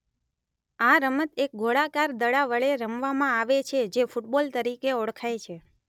આ રમત એક ગોળકાર દડા વડે રમવામાં આવે છે જે ફુટબોલ તરીકે ઓળખાય છે